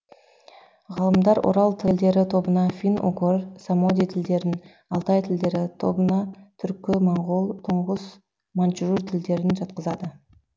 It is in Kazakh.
ғалымдар орал тілдері тобына фин угор самоди тілдерін алтай тілдері тобына түркі моңғол туңғыс маньчжур тілдерін жатқызады